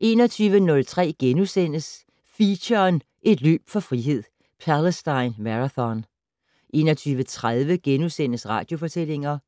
21:03: Feature: Et løb for frihed - Palestine Marathon * 21:30: Radiofortællinger